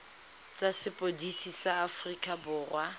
tsa sepodisi sa aforika borwa